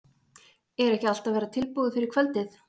Er ekki allt að verða tilbúið fyrir kvöldið?